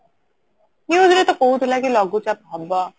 news ରେ ତ କହୁଥିଲା କି ଲଘୁଚାପ ହେବ